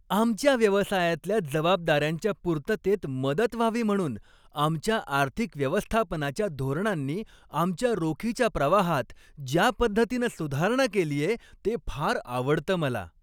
आमच्या व्यवसायातल्या जबाबदाऱ्यांच्या पूर्ततेत मदत व्हावी म्हणून आमच्या आर्थिक व्यवस्थापनाच्या धोरणांनी आमच्या रोखीच्या प्रवाहात ज्या पद्धतीनं सुधारणा केलीये ते फार आवडतं मला.